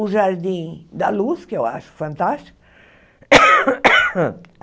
O Jardim da Luz, que eu acho fantástico.